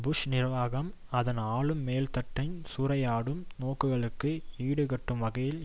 push நிர்வாகம் அதன் ஆளும் மேல்தட்டின் சூறையாடும் நோக்கங்களுக்கு ஈடுகட்டும் வகையில்